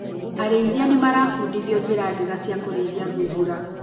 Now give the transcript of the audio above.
Arĩithia nĩmarabundithio njira njega cia kũrĩithia thungura.